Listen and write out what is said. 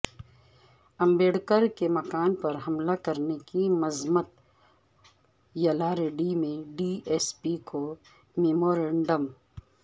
امبیڈکر کے مکان پر حملہ کرنے کی مذمت یلاریڈی میں ڈی ایس پی کو میمورنڈم